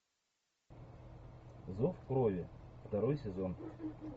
зов крови второй сезон